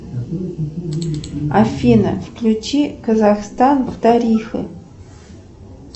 афина включи казахстан в тарифы